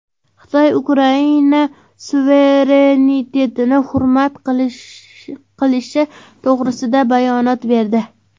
Xitoy Ukraina suverenitetini hurmat qilishi to‘g‘risida bayonot berdi.